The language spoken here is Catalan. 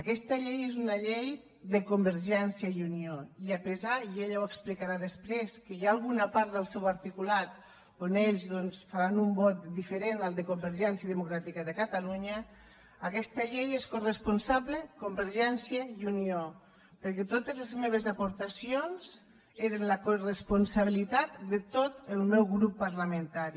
aquesta llei és una llei de convergència i unió i a pesar i ella ho explicarà després que hi ha una part del seu articulat on ells doncs faran un vot diferent del de convergència democràtica de catalunya d’aquesta llei són coresponsables convergència i unió perquè totes les meves aportacions eren la coresponsabilitat de tot el meu grup parlamentari